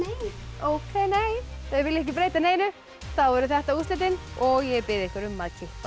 ókei nei þau vilja ekki breyta neinu þá eru þetta úrslitin og ég bið ykkur um að kippa